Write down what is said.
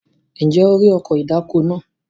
Ǹjẹ́ o rí ọkọ̀ ìdáko náà?